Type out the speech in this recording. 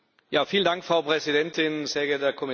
Frau Präsidentin, sehr geehrter Herr Kommissar!